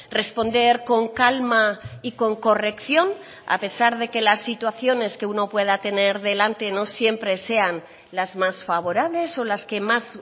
responder con calma y con corrección a pesar de que las situaciones que uno pueda tener delante no siempre sean las más favorables o las que más